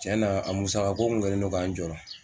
Tiɲɛna a musaka ko kun kɛlen ka n jɔrɔ